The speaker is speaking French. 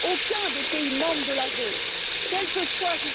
Aucun des pays membres de la zone, quelle que soit sa